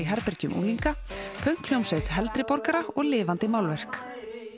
herbergjum unglinga pönkhljómsveit heldri borgara og lifandi málverk